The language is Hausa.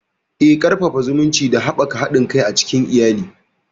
Eh, Ƙarfafa zumunci da haɓaka haɗin kai a cikin iyali.